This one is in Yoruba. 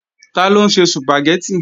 Taló ń se Sùpàgẹ́tì?